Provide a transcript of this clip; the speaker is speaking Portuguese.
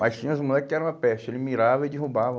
Mas tinha os moleque que era uma peste, ele mirava e derrubava.